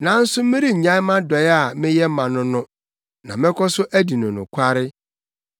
Nanso merennyae mʼadɔe a meyɛ ma no no na mɛkɔ so adi no nokware.